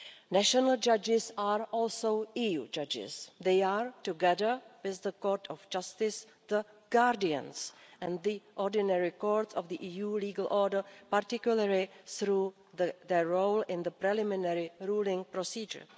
National judges are also EU judges. They are, together with the Court of Justice, the guardians and the ordinary court of the EU legal order, particularly through their role in the preliminary ruling procedure.